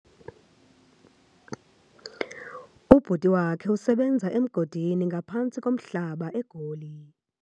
Ubhuti wakhe usebenza emgodini ngaphantsi komhlaba eGoli.